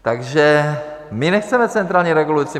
Takže my nechceme centrální regulace.